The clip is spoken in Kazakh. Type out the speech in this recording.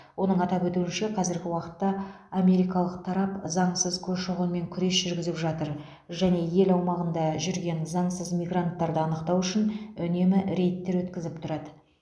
оның атап өтуінше қазіргі уақытта америкалық тарап заңсыз көші қонмен күрес жүргізіп жатыр және ел аумағында жүрген заңсыз мигранттарды анықтау үшін үнемі рейдтер өткізіп тұрады